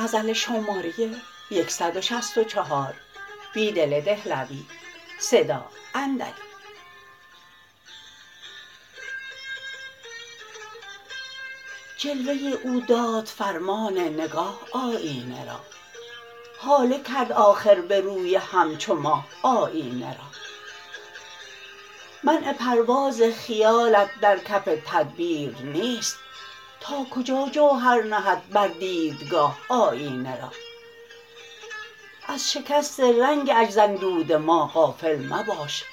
جلوه او داد فرمان نگاه آیینه را هاله کرد آخربه روی همچوماه آیینه را منع پرواز خیالت درکف تدبیر نیست ناکجا جوهر نهد بر دیدگاه آیینه را از شکست رنگ عجز اندود ماغافل مباش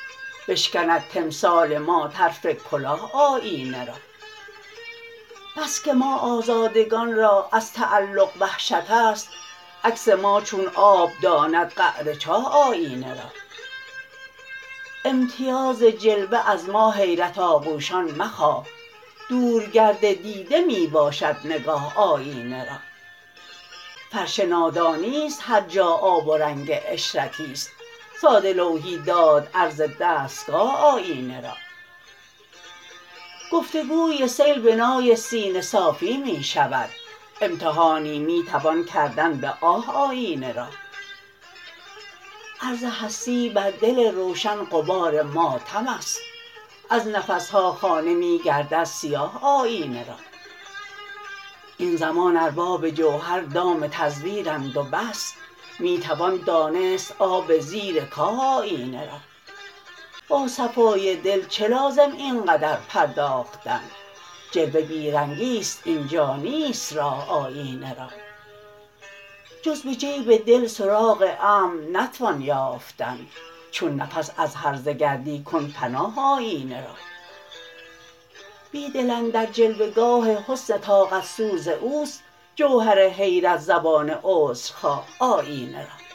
بشکند تمثال ما طرف کلاه آیینه را بسکه ما آزادگان را از تعلق وحشت است عکس ما چون آب داند قعر چاه آیینه را امیتاز جلوه از ما حیرت آغوشان مخواه دورگرد دیده می باشد نگاه آیینه را فرش نادانی ست هرجاآب ورنگ عشرتی ست ساده لوحی داد عرض دستگاه آیینه را گفتگو سیل بنای سینه صافی می شود امتحانی می توان کردن به آه آیینه را عرض هستی بر دل روشن غبار ماتم است ازنفسها خانه می گردد سیاه آیینه را این زمان ارباب جوهر دام تزویرند و بس می توان دانست آب زیرکاه آیینه را با صفای دل چه لازم اینقدر پرداختن جلوه بی رنگی ست اینجانیست راه آیینه را جز به جیب دل سراغ امن نتوان یافتن چون نفس از هرزه گردی کن پناه آیینه را بیدل اندر جلوه گاه حسن طاقت سوز اوست جوهر حیرت زبان عذرخواه آیینه را